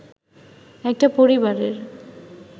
একটা পরিবারের